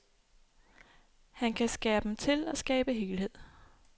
Han kan skære dem til og skabe helhed.